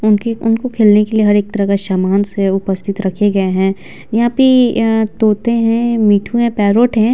उनके उनको खेलने के लिए हर एक तरह का सामान्य से उपस्थित रखे गए हैं यहाँ पे अ-अ तोते हैं मिट्ठू है पैरोट है।